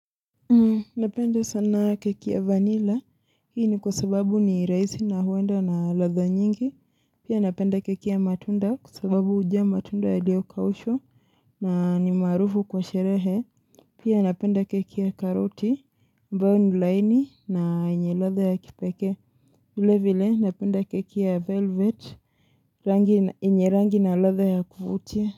Napenda sana keki ya vanilla hii ni kwa sababu ni raisi na huenda na ladha nyingi Pia napenda keki ya matunda kwa sababu uja matunda yaliyo kaushwa na ni marufu kwa sherehe Pia napenda keki ya karoti, ambayo ni laini na yenye ladha ya kipeke vile vile napenda keki ya velvet yenye rangi na ladha ya kuvutia.